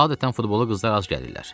Adətən futbola qızlar az gəlirlər.